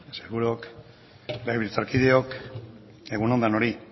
sailburuok legebiltzarkideok egun on denoi